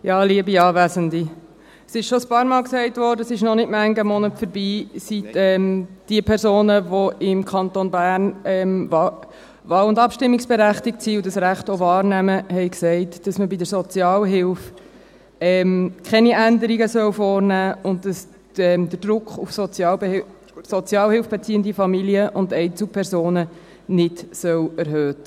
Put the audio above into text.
Es wurde bereits ein paarmal gesagt, es ist noch nicht manchen Monat her, seit diese Personen, die im Kanton Bern wahl- und abstimmungsberechtigt sind und dieses Recht auch wahrnehmen, gesagt haben, man solle bei der Sozialhilfe keine Änderungen vornehmen und den Druck auf sozialhilfebeziehende Familien und Einzelpersonen nicht erhöhen.